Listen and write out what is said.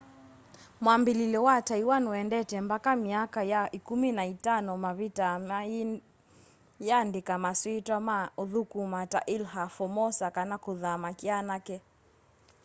mwambĩlĩlyo wa taiwan wendete mbaka myaka ya ĩkũmĩ na itano mavitaa mayĩandĩka maswĩtwa ma ũthũkũma ta ilha formosa kana kũthama kyanake